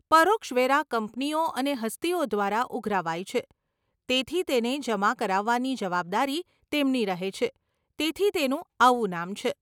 પરોક્ષ વેરા કંપનીઓ અને હસ્તીઓ દ્વારા ઉઘરાવાય છે, તેથી તેને જમા કરાવવાની જવાબદારી તેમની રહે છે, તેથી તેનું આવું નામ છે.